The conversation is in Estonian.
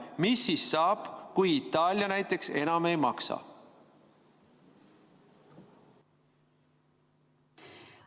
Mis siis saab, kui näiteks Itaalia enam ei maksa?